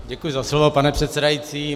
Děkuji za slovo, pane předsedající.